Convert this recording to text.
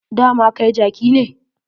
Dama kai jaki ne.